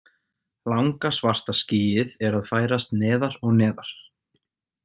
Langa, svarta skýið er að færast neðar og neðar.